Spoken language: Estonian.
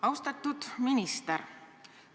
Austatud minister!